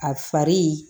A fari